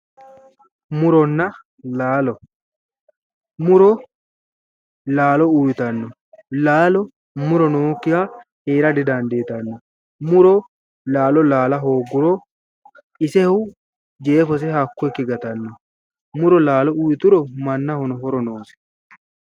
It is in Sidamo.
muronna laalo muro laalo uyitanno laalo muro nookkiha heera didandiitanno muro laalo laala hoogguro isehu jeefoseno hakko ikke gatanno muro laalo uyituro mannahono horo noose.